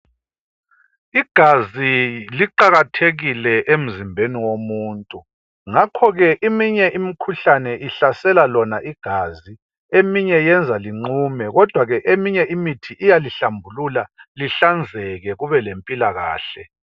Igazi liqakathekile emzimbeni womuntu ngakho-ke eminye imikhuhlane ihlasela lona igazi eminye yenza linqume kodwa eminye imithi iyalihlambulula lihlanzeke kube lempilakahle.